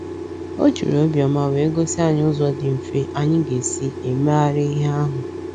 O jiri obiọma wee gosi anyị ụzọ dị mfe anyị ga-esi emeghari ihe ahụ ahụ.